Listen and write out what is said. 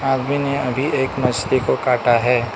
आदमी ने अभी एक मछली को काटा है।